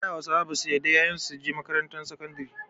A da Hausawa basu yarda ƴaƴan su su je makarantar sakandari.